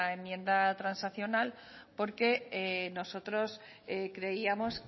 enmienda transaccional porque nosotros creíamos